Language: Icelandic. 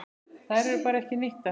Þær eru bara ekki nýttar.